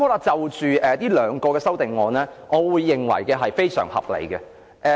就這兩項修正案，我認為非常合理。